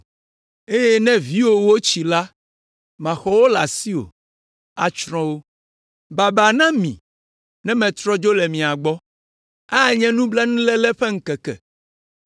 eye ne viwòwo tsi la, maxɔ wo le asiwò, atsrɔ̃ wo. Baba na mi, ne metrɔ dzo le mia gbɔ. Anye blanuiléle ƒe ŋkeke.